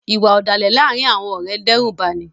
Iwạ ọdalẹ laarin awọn ọrẹ ǹ dẹrubani